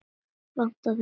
Vantaði þeim vinnu?